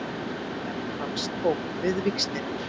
Ritarinn hans tók við víxlinum